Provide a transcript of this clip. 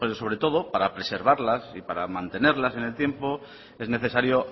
sobre todo para preservarlas y mantenerlas en el tiempo es necesario